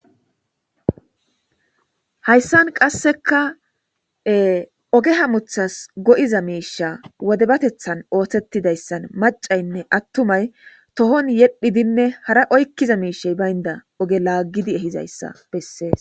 hayssan qasseka oge hamuthas go'iza miisha wodebatethan oothetidayssan macaynne attumay tohon yedhidinne hara oykkiza miishey baynda oge laaggidi ehizayssa bessees